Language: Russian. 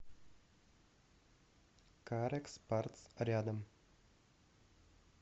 карекс партс рядом